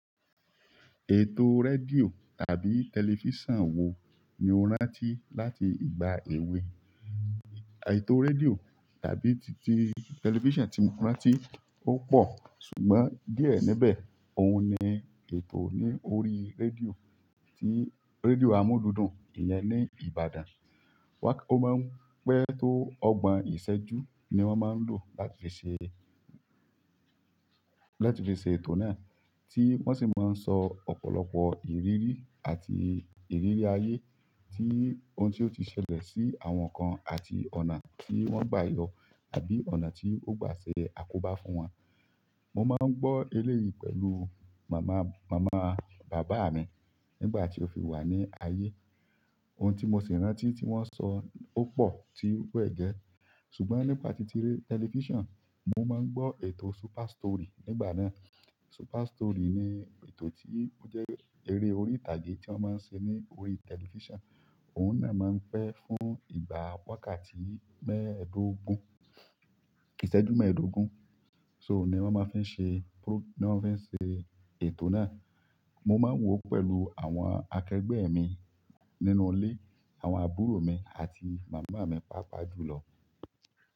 Ètò rédíò àbí tẹlifísàn wo ni o rántí láti ìgbà èwe? Ètò rédíò tàbí ti-ti tẹlifísàn tí mo rántí ó pọ̀, ṣùgbọ́n díẹ̀ níbẹ̀ ohun ni ètò ní orí rédíò, tí rédíò amúlùdùn ìyẹn ní Ìbàdàn. Ó máa ń pẹ́ tó ọgbọ̀n ìṣẹ́jú ni wọ́n máa ń lò láti fi ṣe, láti fi ṣe ètò náà, tí wọ́n sì máa ń sọ ọ̀pọ̀lọpọ̀ ìrírí àti ìrírí ayé, tí ohun tí ó ti ṣẹlẹ̀ sí àwọn kan àti ọ̀nà tí wọ́n gbayọ àbí ọ̀nà tí ó gba ṣe àkóbá fún wọn. Mo máa ń gbọ́ eléyìí pẹ̀lú màmá bàbá mi nígbà tí ó fi wà ní ayé. Ohun tí mo sì rántí tí wọ́n sọ ó pọ̀ tí wẹ̀ gẹ́. Ṣùgbọ́n nípa títí tẹlifísàn, mo máa ń gbọ́ ètò Super Story nígbà náà. Super Story ni ètò tí ó jẹ́ eré orí ìtàgé tí wọ́n máa ń ṣe ní orí tẹlifísàn. Òun náà máa ń pẹ́ fún ìgbà wákàtí mẹ́ẹ̀ẹ́dógún, ìṣẹ́jú mẹ́ẹ̀ẹ́dógún. So ní wọ́n fi ń ṣe ètò náà. Mo máa ń wò ó pẹ̀lú àwọn akẹgbẹ́ mi nínú ilé, àwọn àbúrò mi àti màmá mi, pàápàá jùlọ.